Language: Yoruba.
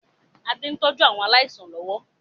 Adé ń tọ́jú àwọn aláìsàn lọ́wọ́